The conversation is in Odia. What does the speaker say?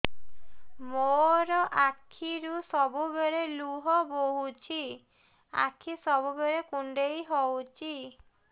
ମୋର ଆଖିରୁ ସବୁବେଳେ ଲୁହ ବୋହୁଛି ଆଖି ସବୁବେଳେ କୁଣ୍ଡେଇ ହଉଚି